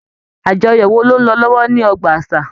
Àjọyọ̀ wò ló n lọ lọwọ ní ọgbà àṣà.